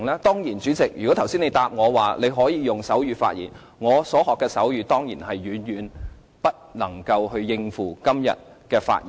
當然，主席，如果你剛才回答我"你可以用手語發言"，我所學的手語當然遠遠不能應付今天的發言。